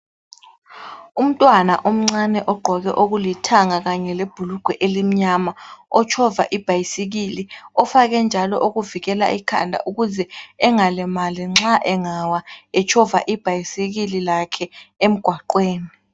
Umntwana omncane ogqoke okulithanga kanye lebhulugwe elimnyama. Otshova ibhayisikili ,ofake njalo okuvikela ikhanda ukuze engalimali nxa engawa ,etshova ibhayisikili lakhe emugwaqweni.